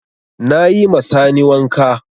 Na yi ma Sani wanka.